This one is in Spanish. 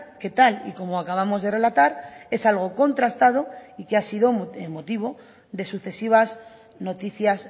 que tal y como acabamos de relatar es algo contrastado y que ha sido motivo de sucesivas noticias